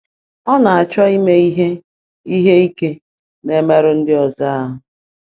Ọ na-achọ ime ihe ihe ike na imerụ ndị ọzọ ahụ.